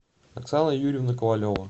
оксана юрьевна ковалева